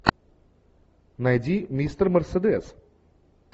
найди мистер мерседес